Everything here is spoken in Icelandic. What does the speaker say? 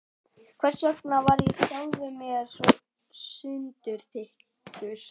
Hversvegna var ég sjálfum mér svo sundurþykkur?